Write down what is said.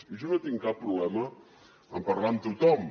i jo no tinc cap problema en parlar amb tothom